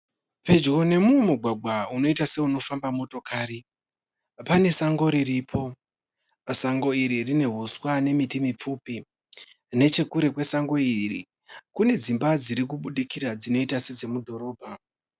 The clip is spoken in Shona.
Pedyo nemumugwagwa unoita seunofamba motokari, pane sango riripo. Sango iri rine huswa nemiti mipfupi, nechekure kwesango iri kune dzimba dziri kubudikira dzinoita sedzemudhorobha